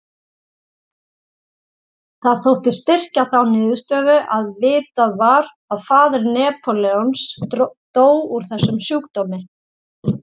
Það þótti styrkja þá niðurstöðu að vitað var að faðir Napóleons dó úr þessum sjúkdómi.